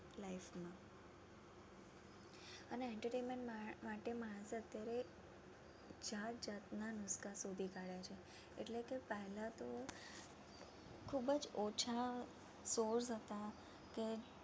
અને Entertainment માટે માણસ અત્યારે જાત જાત ના શોધી કાઢે છે એટ્લે કે પેહલા તો ખૂબ જ ઓછા source હતા કે